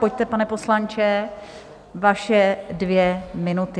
Pojďte, pane poslanče, vaše dvě minuty.